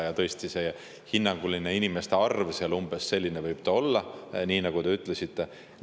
Ja tõesti hinnanguline inimeste arv seal on umbes selline, nagu te ütlesite.